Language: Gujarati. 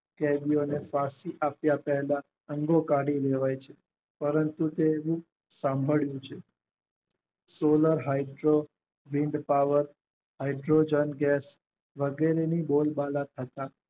અંગો કાઢી લેવાય છે પરંતુ તે સાંભર્યું છે એવા હેલ્થઓ વીંટ કવર હાઇડ્રોજન ગેસ વગેરેની બોલબાલા થતા